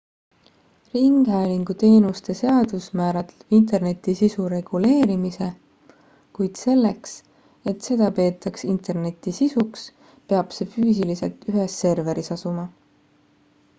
ringhäälingu teenuste seadus määratleb interneti sisu reguleerimise kuid selleks et seda peetaks interneti sisuks peab see füüsiliselt ühes serveris asuma